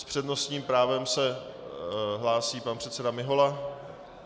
S přednostním právem se hlásí pan předseda Mihola.